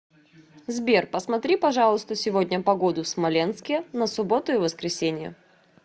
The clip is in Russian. сбер посмотри пожалуйста сегодня погоду в смоленске на субботу и воскресенье